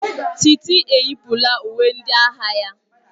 Titi yipụla uwe ndị agha ya.